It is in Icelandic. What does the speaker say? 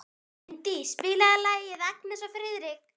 Indí, spilaðu lagið „Agnes og Friðrik“.